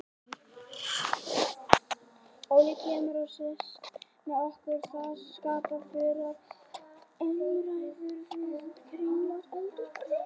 Óli kemur og sest með okkur og það skapast fjörugar umræður við kringlótt eldhúsborðið.